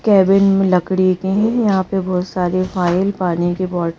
cabin लकड़ी की हे यहां पे बहुत सारे फाइल पानी की बोट --